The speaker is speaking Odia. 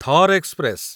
ଥର ଏକ୍ସପ୍ରେସ